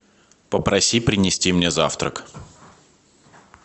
попроси принести мне завтрак